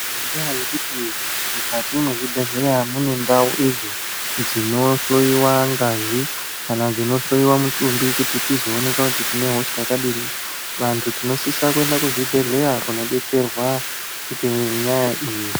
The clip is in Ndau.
Ngendaa yekuti mukati mwezvibhedhleya mune ndau dzinohloiwe ngazi kana dzinohloiwa mutumbi kuti tizooneka kuti tinehosha dzakadini, vantu tinosisa kuenda kuzvibhedhleya kunodetserwa ngenyaya iyi.